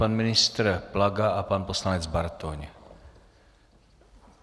Pan ministr Plaga a pan ministr Bartoň.